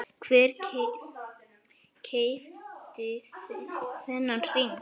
Hver keypti þennan hring?